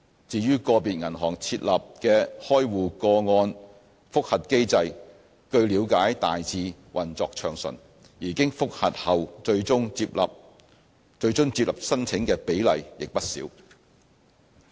至於個別銀行設立了的開戶個案覆核機制，據了解大致運作暢順，而經覆核後最終獲接納申請的比例亦不少。